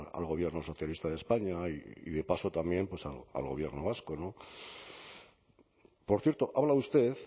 al gobierno socialista de españa y de paso también al gobierno vasco por cierto habla usted